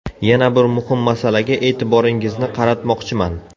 Yana bir muhim masalaga e’tiboringizni qaratmoqchiman.